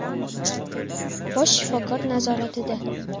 bosh shifokor nazoratida.